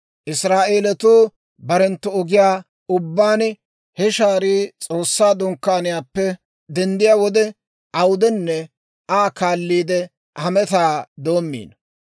Israa'eelatuu barenttu ogiyaa ubbaan, he shaarii S'oossaa Dunkkaaniyaappe denddiyaa wode awudenne Aa kaalliide hametaa doomino.